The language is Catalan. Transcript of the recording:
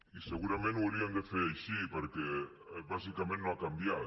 i segurament ho hauríem de fer així perquè bàsicament no ha canviat